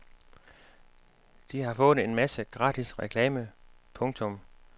De har fået en masse gratis reklame. punktum